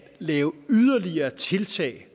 lave yderligere tiltag